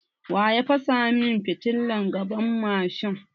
Waya fasa mun fitilan gaban mashin?